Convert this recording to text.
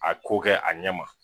A ko kɛ a ɲɛ ma.